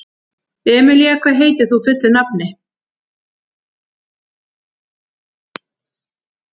Emelía, hvað heitir þú fullu nafni?